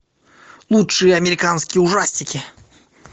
лучшие американские ужастики